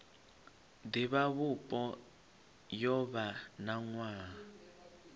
divhavhupo yo vha na nwaha